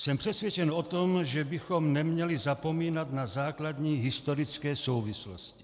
Jsem přesvědčen o tom, že bychom neměli zapomínat na základní historické souvislosti.